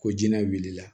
Ko jinɛ wulila